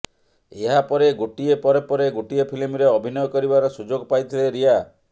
ଏହାପରେ ଗୋଟିଏ ପରେ ପରେ ଗୋଟିଏ ଫିଲ୍ମରେ ଅଭିନୟ କରିବାର ସୁଯୋଗ ପାଇଥିଲେ ରିୟା